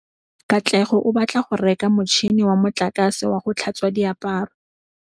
Katlego o batla go reka motšhine wa motlakase wa go tlhatswa diaparo.